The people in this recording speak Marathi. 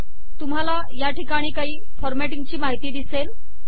तुम्हाला या ठिकाणी काही फॉरमॅटिंग ची माहिती दिसेल